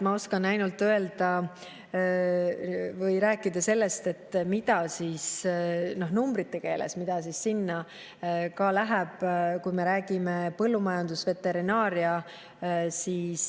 Ma oskan ainult rääkida numbrite keeles sellest, läheb, kui me räägime põllumajandusest ja veterinaariast.